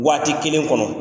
Waati kelen kɔnɔ